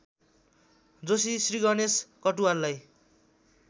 Joshi Shriganesh कटुवाललाई